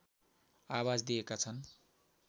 आवाज दिएका छन्